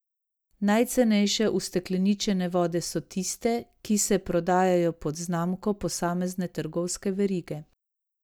Najcenejše ustekleničene vode so tiste, ki se prodajajo pod znamko posamezne trgovske verige.